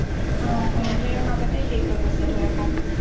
সিহঁতৰ মাজতে শেষ হয় হৈছে ধৰা কাম বিলাক